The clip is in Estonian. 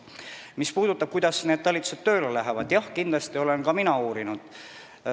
Mis puudutab seda, kuidas need talitused tööle hakkavad, siis seda olen ka mina uurinud.